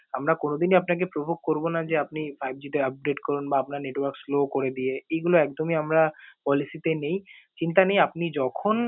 আমরা কোনো দিনই আপনাকে provoke করবো না যে, আপনি five G টা upgrade করুন বা আপনার network slow করে দিয়ে এইগুলো একদমই আমরা policy তে নেই। চিন্তা নেই, আপনি যখন